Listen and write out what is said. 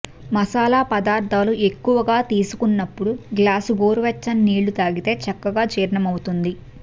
మసాలా పదార్థాలు ఎక్కువగా తీసుకున్నప్పుడు గ్లాసు గోరువెచ్చని నీళ్లు తాగితే చక్కగా జీర్ణమవుతుంది